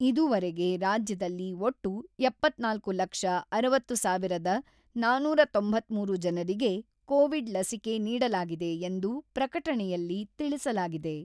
ಇದುವರೆಗೆ ರಾಜ್ಯದಲ್ಲಿ ಒಟ್ಟು ಎಪ್ಪತ್ತ್ನಾಲ್ಕು ಲಕ್ಷ ಅರವತ್ತು ಸಾವಿರದ ನಾನೂರ ತೊಂಬತ್ತ್ಮೂರು ಜನರಿಗೆ ಕೋವಿಡ್ ಲಸಿಕೆ ನೀಡಲಾಗಿದೆ ಎಂದು ಪ್ರಕಟಣೆಯಲ್ಲಿ ತಿಳಿಸಲಾಗಿದೆ.